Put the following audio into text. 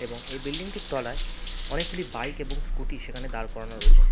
এবং এ বিল্ডিং টির তলায় অনেকগুলি বাইক এবং স্ক্যুটি সেখানে দাঁড় করানো রয়েছে ।